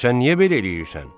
Sən niyə belə eləyirsən?